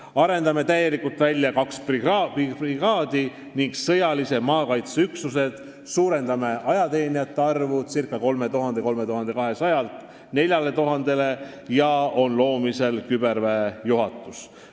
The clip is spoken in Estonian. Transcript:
Arendame täielikult välja kaks brigaadi ning sõjalise maakaitse üksused, suurendame ajateenijate arvu 3200-lt 4000-le ja loome küberväejuhatuse.